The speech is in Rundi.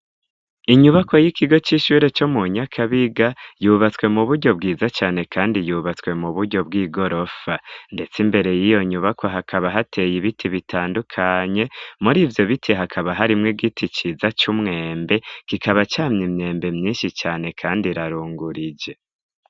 Inyubakwa y'ikigo cy'ishure cyo mu nyakabiga yubatswe mu buryo bwiza cyane kandi yubatswe mu buryo bw'igorofa ndetse imbere y'iyo nyubako hakaba hateye ibiti bitandukanye muri ivyo bite hakaba harimwo giti ciza cy'umwembe kikaba cyamye imyembe myinshi cane kandi rarungurie.